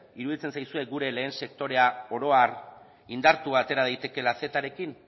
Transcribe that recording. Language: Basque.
iruditzen zaizue gure lehen sektorea oro har indartua atera daitekeela cetarekin